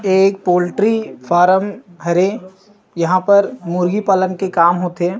एक पोल्ट्री_फार्म हरे यहाँ पर मुर्गी पालन के काम होथे।